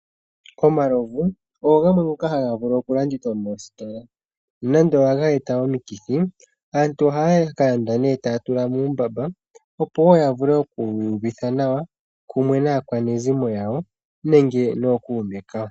Omalovu ogo gamwe ngoka haga vulu oku landithwa moositola nonando ohaga eta omikithi. Aantu ohaya landa nee taya tula muumbamba opo woo yavule oku iyuvitha nawa pamwe naakwanezimo yawo nenge nookuume kawo.